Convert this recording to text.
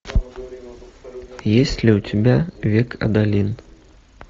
есть ли у тебя век адалин